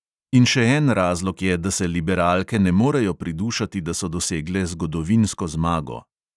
In še en razlog je, da se liberalke ne morejo pridušati, da so dosegle zgodovinsko zmago.